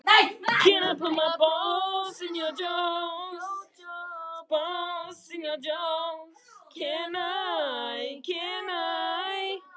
Ekki er þörf á að ýkja þar.